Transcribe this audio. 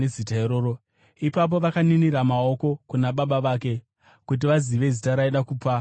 Ipapo vakaninira namaoko kuna baba vake, kuti vazive zita raaida kupa mwana.